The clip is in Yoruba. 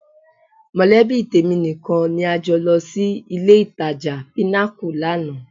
Mọ̀lẹ́bí tèmi nìkan ni a jọ lọ sí ilé-ìtajà Pinnacle lánàá